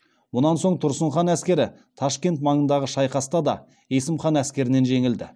мұнан соң тұрсын хан әскері ташкент маңындағы шайқаста да есім хан әскерінен жеңілді